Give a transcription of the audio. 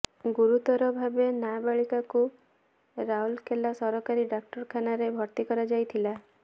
ଗୁରୁତର ଭାବେ ନାବାଳିକାକୁ ରାଉଲାକେଲା ସରକାରୀ ଡ଼ାକ୍ତର ଖାନାରେ ଭର୍ତ୍ତି କରାଯାଇଥିଲା